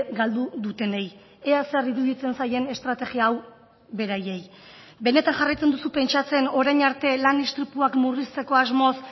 galdu dutenei ea zer iruditzen zaien estrategia hau beraiei benetan jarraitzen duzu pentsatzen orain arte lan istripuak murrizteko asmoz